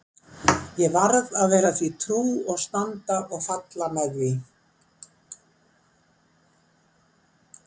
Ég varð að vera því trú og standa og falla með því.